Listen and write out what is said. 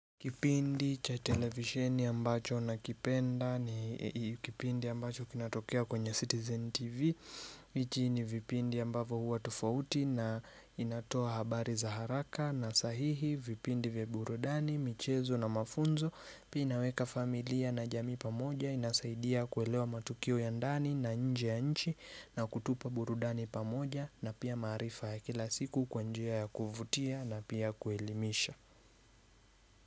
Kipindi cha televisheni ambacho nakipenda ni kipindi ambacho kinatokea kwenye Citizen TV Michi ni vipindi ambavyo huwa tofauti na inatoa habari za haraka na sahihi vipindi vya burudani, michezo na mafunzo Pia inaweka familia na jamii pamoja inasaidia kuelewa matukio ya ndani na nje ya nchi na kutupa burudani pamoja na pia maarifa ya kila siku kwa njia ya kuvutia na pia kuelimisha.